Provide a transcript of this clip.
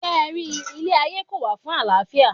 Ṣé ẹ ri, ilé ayé kò wà fún àlàáfíà.